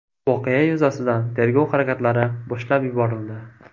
Voqea yuzasidan tergov harakatlari boshlab yuborildi.